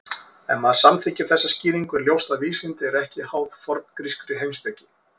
Ef maður samþykkir þessa skýringu er ljóst að vísindi eru ekki háð forngrískri heimspeki.